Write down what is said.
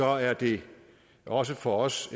er det også for os